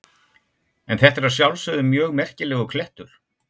En þetta er að sjálfsögðu mjög merkilegur klettur.